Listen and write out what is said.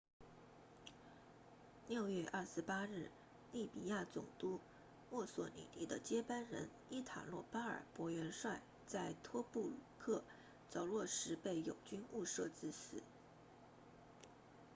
6月28日利比亚总督墨索里尼的接班人伊塔洛巴尔博元帅 marshal italo balbo 在托布鲁克着陆时被友军误射致死